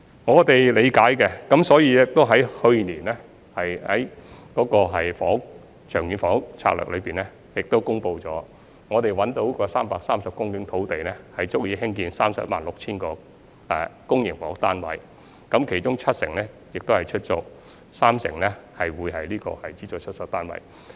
我們是理解的，所以在去年的《長遠房屋策略》中公布我們已找到330公頃土地，足以興建 316,000 個公營房屋單位，其中七成是出租公屋，三成是資助出售單位。